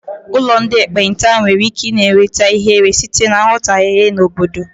Ụlọ ndị ekpenta nwere ike na-enweta ihere na nghọtahie sitere n'obodo.